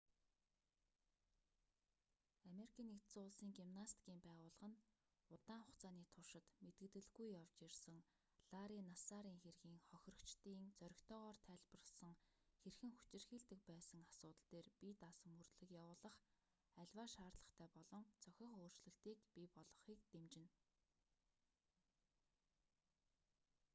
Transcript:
ану-ын гимнастикийн байгууллага нь удаан хугацааны туршид мэдэгдэлгүй явж ирсэн ларри нассарын хэргийн хохирогчдын зоригтойгоор тайлбарласан хэрхэн хүчирхийлдэг байсан асуудал дээр бие даасан мөрдлөг явуулах аливаа шаардлагатай болон зохих өөрчлөлтийг бий болгохыг дэмжинэ